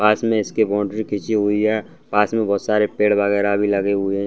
पास में इसके बॉउन्ड्री खींची हुई है पास में बहुत सारे पेड़ वगैरा भी लगे हुए हैं।